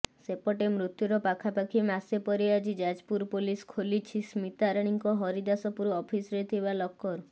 ସେପଟେ ମୃତ୍ୟୁର ପାଖାପାଖି ମାସେ ପରେ ଆଜି ଯାଜପୁର ପୋଲିସ୍ ଖୋଲିଛି ସ୍ମିତାରାଣୀଙ୍କ ହରିଦାଶପୁର ଅଫିସ୍ରେ ଥିବା ଲକର୍